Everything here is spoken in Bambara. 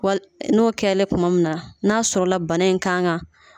Wal n'o kɛlen tuma min na, n'a sɔrɔla, bana in kan ka